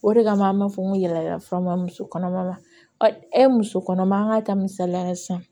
O de kama an b'a fɔ n ko yaala yaala fura ma muso kɔnɔma ma e muso kɔnɔma an ka ta misaliya la sisan